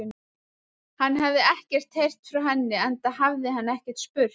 Hann hafði ekkert heyrt frá henni, enda hafði hann ekki spurt.